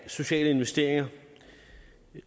sociale investeringer